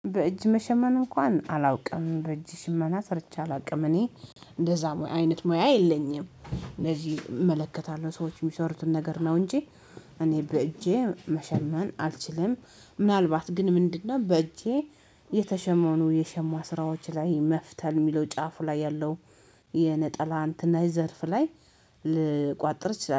በእጅ መሸመን እንኳን አላውቅም በእጅ ሽመና ሰርቼ አላውቅም እኔ እንደዛ አይነት ሙያ የለኝም። እመለከታለሁ ሰዎች የሚሰሩትን ነገር ነው እንጂ እኔ በእጄ መሸመን አልችልም። ምናልባት ግን ምንድነው? በእጄ የተሸመኑ የሸማ ስራዎች ላይ መፍተል የሚለው ጫፉ ላይ ያለው የነጠላ አንትና የዘርፍ ላይ ልቋጥር እችላለው